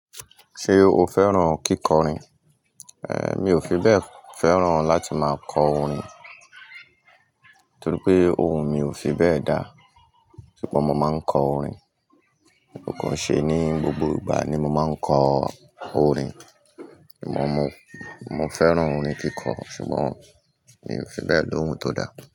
Ṣé o fẹ́ràn kíkọrin? Ehn, mi ò fi bẹ́ẹ̀ fẹ́ràn láti máa kọ orin, torí pé ohun mi ò fi bẹ́ẹ̀ dá, ṣùgbọ́n mo máa ń kọ orin. Kò ṣe ní gbogbo ìgbà ni mo máa ń kọ orin. Mo mọ, mo fẹ́ràn orin kíkọ ṣùgbọ́n mi ò fi bẹ́ẹ̀ lóhùn tó dá.